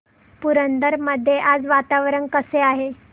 पुरंदर मध्ये आज वातावरण कसे आहे